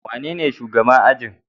Wanene shugaban ajin?